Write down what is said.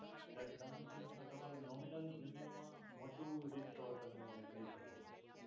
જ્યારે ટર્મ ઇન્સ્યોરન્સમાં તમારે nominal premium મા મોટું risk કવર તમે લઈ શકો છો.